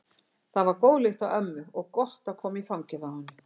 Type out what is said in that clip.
Það var góð lykt af ömmu og gott að koma í fangið á henni.